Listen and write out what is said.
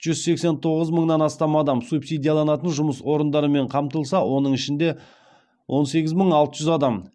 жүз сексен тоғыз мыңнан астам адам субсидияланатын жұмыс орындарымен қамтылса оның ішінде он сегіз мың алты жүз адам